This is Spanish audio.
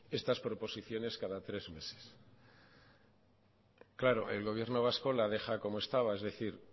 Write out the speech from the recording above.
estas proposiciones cada tres meses claro el gobierno vasco la deja como estaba es decir